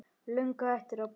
Löngu hættur að brosa.